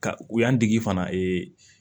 Ka u y'an dege fana